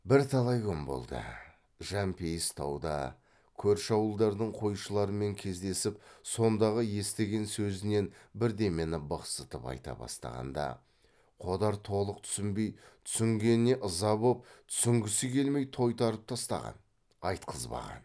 бірталай күн болды жәмпейіс тауда көрші ауылдардың қойшыларымен кездесіп сондағы естіген сөзінен бірдемені бықсытып айта бастағанда қодар толық түсінбей түсінгеніне ыза боп түсінгісі келмей тойтарып тастаған айтқызбаған